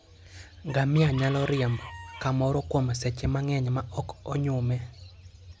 Ngamia nyalo riembo kamoro kuom seche mang'eny maok onyume.